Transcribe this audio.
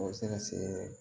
O bɛ se ka se